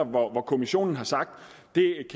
hvor kommissionen har sagt